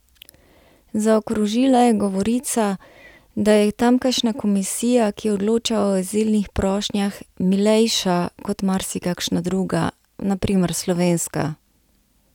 Zaokrožila je govorica, da je tamkajšnja komisija, ki odloča o azilnih prošnjah, milejša kot marsikakšna druga, na primer slovenska.